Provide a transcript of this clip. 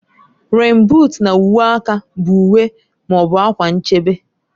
Rèèn buut na uwe aka bụ uwe / akwa nchebe